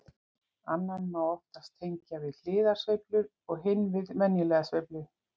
Annan má oftast tengja við hliðarsveiflur og hinn við venjulega sveiflu.